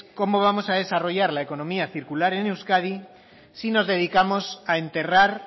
cómo vamos a desarrollar la economía circular en euskadi si nos dedicamos a enterrar